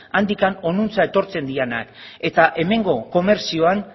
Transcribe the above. handik honantz etortzen direnak eta hemengo komertzioan